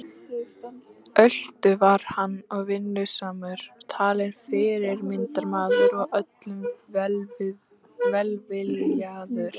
Ötull var hann og vinnusamur talinn fyrirmyndarmaður og öllum velviljaður.